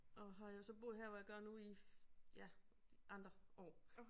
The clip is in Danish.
Og har jo så boet her hvor jeg gør nu i ja andre år